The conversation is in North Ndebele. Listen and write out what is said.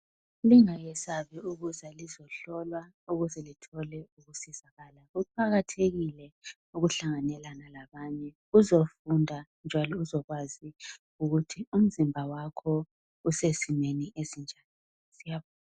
Lingayesabi ukuza lizohlolwa ukuze lithole ukusizakala. Kuqakathekile ukuhlanganelana labanye uzofunda njalo uzokwazi ukuthi umzimba wakho usesimeni esinjani, siyabonga.